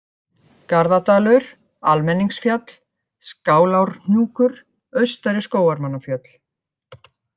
Garðadalur, Almenningsfjall, Skálárhnjúkur, Austari-Skógarmannafjöll